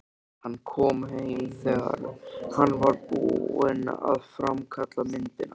Hann kom heim þegar hann var búinn að framkalla myndirnar.